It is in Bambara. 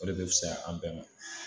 O de bɛ fisa an bɛɛ ma